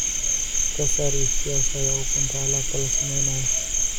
ka saar iibsashada ukunta alaabta la samaynayo